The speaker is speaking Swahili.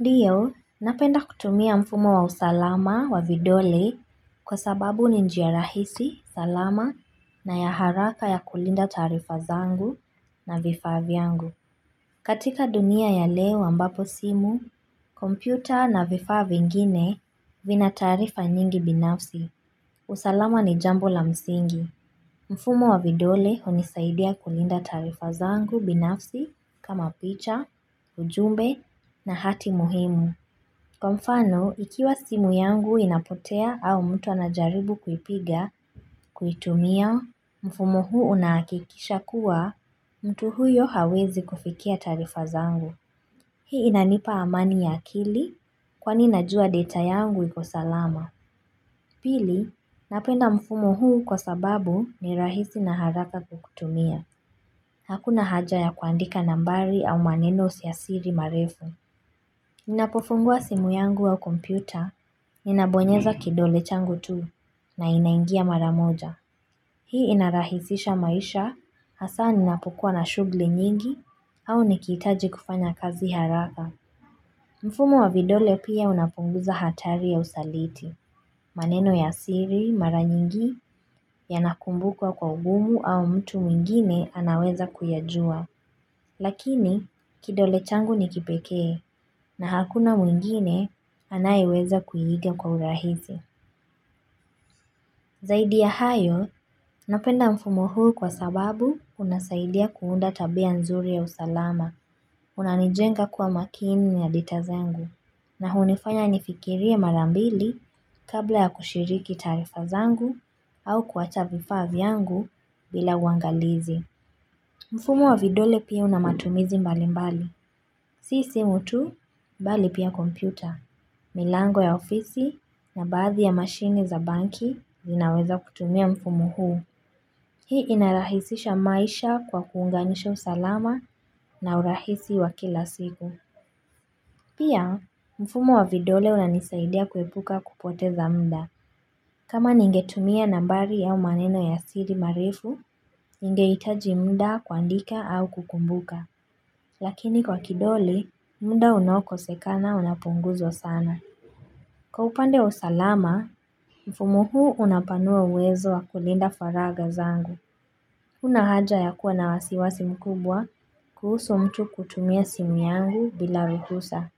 Ndiyo, napenda kutumia mfumo wa usalama wa vidole kwa sababu ni njia rahisi, salama na ya haraka ya kulinda taarifa zangu na vifaa vyangu. Katika dunia ya leo ambapo simu, kompyuta na vifaa vingine vina taarifa nyingi binafsi. Usalama ni jambo la msingi. Mfumo wa vidole hunisaidia kulinda taarifa zangu binafsi kama picha, ujumbe na hati muhimu. Kwa mfano, ikiwa simu yangu inapotea au mtu anajaribu kuipiga kuitumia, mfumo huu unahakikisha kuwa mtu huyo hawezi kufikia taarifa zangu. Hii inanipa amani ya akili kwani najua data yangu iko salama. Pili, napenda mfumo huu kwa sababu ni rahisi na haraka kuutumia. Hakuna haja ya kuandika nambari au maneno ya siri marefu. Ninapofungua simu yangu au kompyuta, ninabonyeza kidole changu tu, na inaingia mara moja. Hii inarahisisha maisha, hasa ninapokuwa na shughuli nyingi, au nikihitaji kufanya kazi haraka. Mfumo wa vidole pia unapunguza hatari ya usaliti. Maneno ya siri, mara nyingi, yanakumbukwa kwa ugumu au mtu mwingine anaweza kuyajua. Lakini kidole changu ni kipekee na hakuna mwingine anayeweza kuiiga kwa urahisi. Zaidi ya hayo napenda mfumo huu kwa sababu unasaidia kuunda tabia nzuri ya usalama. Unanijenga kwa makini na data zangu na hunifanya nifikirie mara mbili kabla ya kushiriki taarifa zangu au kuacha vifaa vyangu bila uangalizi. Mfumo wa vidole pia una matumizi mbali mbali. Si simu tu, bali pia kompyuta. Milango ya ofisi na baadhi ya mashine za banki zinaweza kutumia mfumo huu. Hii inarahisisha maisha kwa kuunganisha usalama na urahisi wa kila siku. Pia, mfumo wa vidole unanisaidia kuepuka kupoteza muda. Kama ningetumia nambari au maneno ya siri marefu, ningehitaji muda kuandika au kukumbuka. Lakini kwa kidole, muda unaokosekana unapunguzwa sana. Kwa upande wa usalama, mfumo huu unapanua uwezo wa kulinda faragha zangu. Hakuna haja ya kuwa na wasiwasi mkubwa kuhusu mtu kutumia simu yangu bila ruhusa.